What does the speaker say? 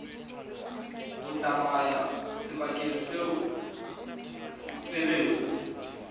ho tsamaya sebakeng seo feberu